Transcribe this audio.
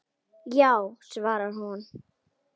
Já, svarar hún.